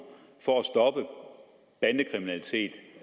for